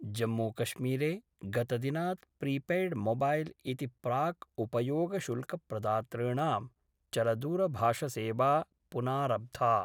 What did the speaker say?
जम्मूकश्मीरे गतदिनात् प्रीपेयड्मोबैल् इति प्राक् उपयोगशुल्कप्रदातॄणां चलदूरभाषसेवा पुनारब्धा।